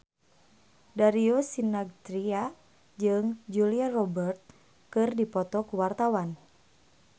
Darius Sinathrya jeung Julia Robert keur dipoto ku wartawan